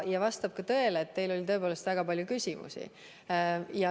Vastab tõele, et teil oli tõepoolest väga palju küsimusi.